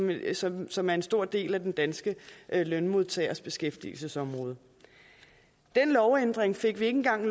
virksomheder som er en stor del af den danske lønmodtagers beskæftigelsesområde den lovændring fik ikke engang